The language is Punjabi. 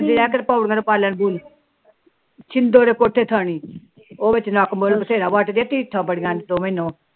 ਰ ਛਿਦੋ ਦੇ ਕੋਠੇ ਥਾਣੀ ਉਹ ਵਿੱਚ ਨੱਕ ਬੁਲ ਬਥੇਰਾ ਬੱਟਦੀਆਂ ਢੀਠਾ ਬੜੀਆਂ